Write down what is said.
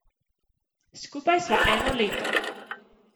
Skupaj sva eno leto.